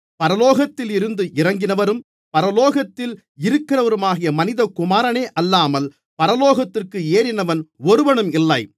பரலோகத்தில் இருந்து இறங்கினவரும் பரலோகத்தில் இருக்கிறவருமான மனிதகுமாரனே அல்லாமல் பரலோகத்திற்கு ஏறினவன் ஒருவனும் இல்லை